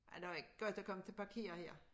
Ja det var ikke godt at komme til parkere her